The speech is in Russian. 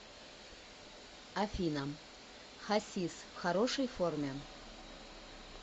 афина хасис в хорошей форме